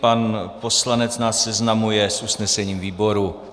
Pan poslanec nás seznamuje s usnesením výboru.